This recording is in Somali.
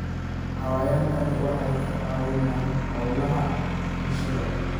Xayawaankani waxay ka caawiyaan hawlaha bulshada.